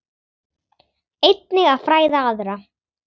Einnig að fræða aðra.